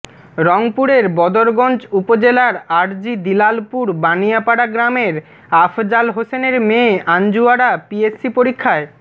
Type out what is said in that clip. রংপুরের বদরগঞ্জ উপজেলার আরজি দিলালপুর বানিয়াপাড়া গ্রামের আফজাল হোসেনের মেয়ে আঞ্জুয়ারা পিএসসি পরীক্ষায়